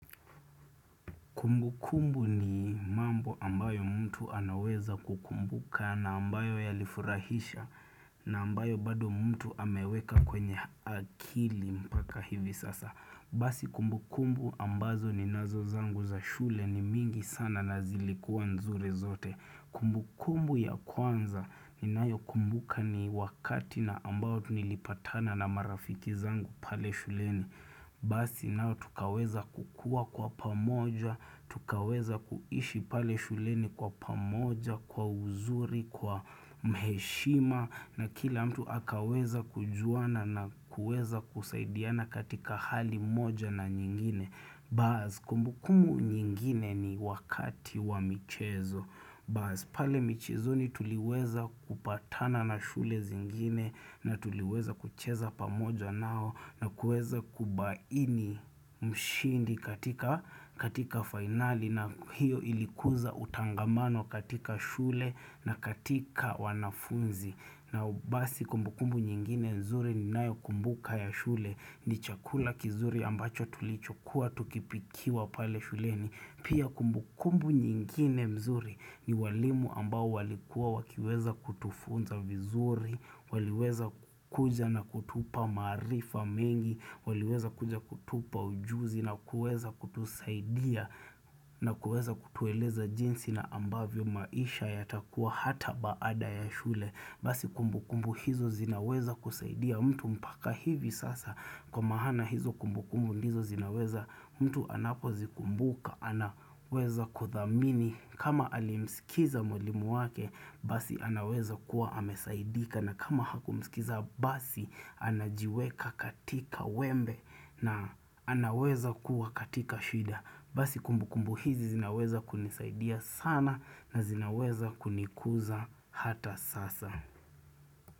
Kumbukumbu ni mambo ambayo mtu anaweza kukumbuka na ambayo ya lifurahisha na ambayo bado mtu ameweka kwenye akili mpaka hivi sasa. Basi kumbukumbu ambazo ninazo zangu za shule ni mingi sana na zilikuwa nzuri zote. Kumbukumbu ya kwanza ninayokumbuka ni wakati na ambayo nilipatana na marafiki zangu pale shuleni. Basi nao tukaweza kukua kwa pamoja, tukaweza kuishi pale shuleni kwa pamoja, kwa uzuri, kwa mheshima na kila mtu akaweza kujuana na kueza kusaidiana katika hali moja na nyingine. Baaz, kumbukumu nyingine ni wakati wa michezo. Baaz, pale michezoni tuliweza kupatana na shule zingine na tuliweza kucheza pamoja nao na kueza kubaini mshindi katika finali na hiyo ilikuza utangamano katika shule na katika wanafunzi. Na basi kumbukumbu nyingine nzuri ninayokumbuka ya shule ni chakula kizuri ambacho tulichokuwa tukipikiwa pale shuleni. Pia kumbukumbu nyingine mzuri ni walimu ambao walikuwa wakiweza kutufunza vizuri, waliweza kukuja na kutupa maarifa mengi, waliweza kuja kutupa ujuzi na kueza kutusaidia na kueza kutueleza jinsi na ambavyo maisha ya takua hata baada ya shule. Basi kumbu kumbu hizo zinaweza kusaidia mtu mpaka hivi sasa kwa mahana hizo kumbu kumbu hizo zinaweza mtu anapo zikumbuka anaweza kuthamini kama alimsikiza mwalimu wake basi anaweza kuwa amesaidika na kama hakumsikiza basi anajiweka katika wembe na anaweza kuwa katika shida. Basi kumbu kumbu hizi zinaweza kunisaidia sana na zinaweza kunikuza hata sasa.